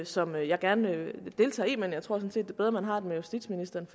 som jeg gerne deltager i men jeg tror sådan set det er bedre at man har den med justitsministeren